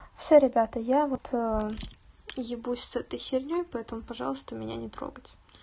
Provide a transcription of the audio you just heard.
всё ребята я вот ебусь с этой херней поэтому пожалуйста меня не трогать